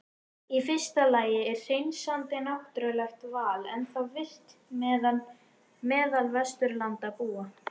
Í fyrsta lagi er hreinsandi náttúrulegt val ennþá virkt meðal Vesturlandabúa.